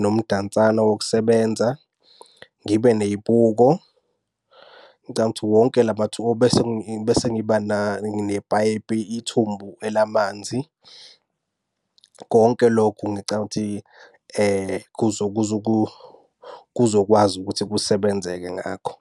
nomdansane wokusebenza, ngibe ney'buko. Ngicabanga ukuthi wonke lama besengiba nepayipi ithumbu elamanzi. Konke lokhu ngicabanga ukuthi kuzokwazi ukuthi kusebenzeke ngakho.